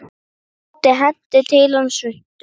Tóti henti til hans svuntu.